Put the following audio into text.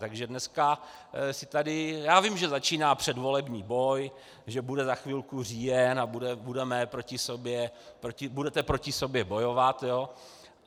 Takže dneska si tady - já vím, že začíná předvolební boj, že bude za chvilku říjen a budete proti sobě bojovat.